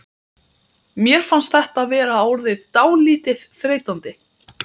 Mér fannst þetta vera orðið dálítið þreytandi.